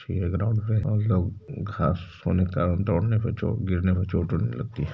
यह ग्राउंड है घास होने के कारण दौड़ने पे चो गिरने पर चोट ओट नहीं लगती।